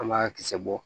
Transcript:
An b'a kisɛ bɔ